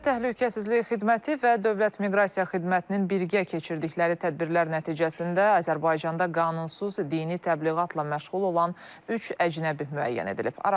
Dövlət Təhlükəsizlik Xidməti və Dövlət Miqrasiya Xidmətinin birgə keçirdikləri tədbirlər nəticəsində Azərbaycanda qanunsuz dini təbliğatla məşğul olan üç əcnəbi müəyyən edilib.